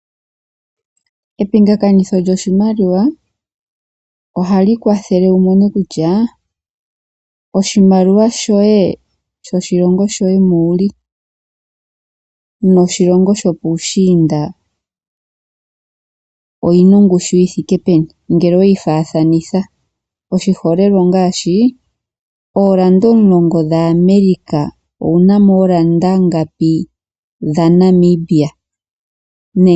Epingakanitho lyoshimaliwa ohali kwathele wu mone kutya, oshimaliwa shoye sho shilongo shoye moka wuli noshilongo sho puushinda oyina ongushu yi thike peni ngele oweyi faathanitha. Oshiholelwa ongashi orand omulongo dha America owunamo oondola ngapi dha Namibia.